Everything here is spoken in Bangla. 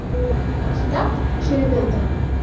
কাজটা সেরে ফেলতে হবে